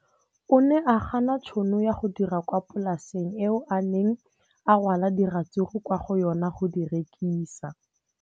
O ne a gana tšhono ya go dira kwa polaseng eo a neng rwala diratsuru kwa go yona go di rekisa.